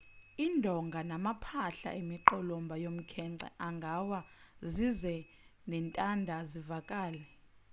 indonga namaphahla emiqolomba yomkhenkce angawa zize nentanda zivaleke